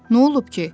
Nə olub ki?